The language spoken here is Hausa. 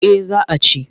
Eh za a ci.